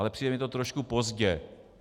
Ale přijde mi to trošku pozdě.